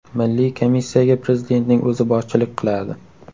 Milliy komissiyaga Prezidentning o‘zi boshchilik qiladi.